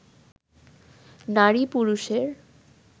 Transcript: নারী পুরুষের